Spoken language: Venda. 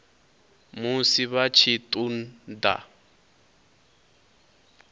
musi vha tshi ṱun ḓa